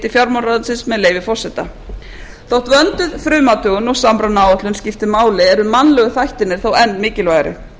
fjármálaráðuneytisins með leyfi forseta þótt vönduð frumathugun og samrunaáætlun skipti máli eru mannlegu þættirnir þó enn mikilvægari